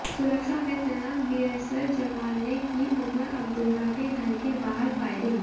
सुरक्षा में तैनात बीएसएफ जवान ने की उमर अब्दुल्ला के घर के बाहर फायरिंग